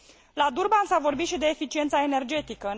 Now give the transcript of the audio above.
La Durban s a vorbit și de eficiența energetică.